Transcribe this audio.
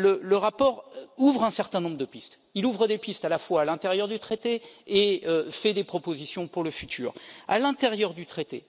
Le rapport ouvre un certain nombre de pistes. Il ouvre des pistes à l'intérieur du traité et fait des propositions pour le futur. À l'intérieur du traité,